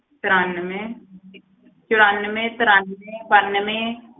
ਤਰਾਨਵੇਂ ਚੁਰਾਨਵੇਂ ਤਰਾਨਵੇਂ ਬਾਨਵੇਂ।